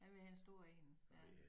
Han ville have en stor én ja